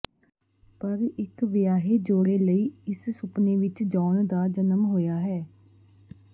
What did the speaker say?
ਪਰ ਇਕ ਵਿਆਹੇ ਜੋੜੇ ਲਈ ਇਸ ਸੁਪਨੇ ਵਿਚ ਜੌਨ ਦਾ ਜਨਮ ਹੋਇਆ ਹੈ